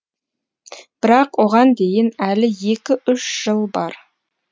бірақ оған дейін әлі екі үш жыл бар